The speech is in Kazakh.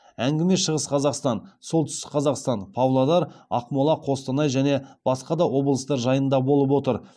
әңгіме шығыс қазақстан солтүстік қазақстан павлодар ақмола қостанай және басқа да облыстар жайында болып отыр